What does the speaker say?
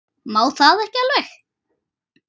Má það ekki alveg?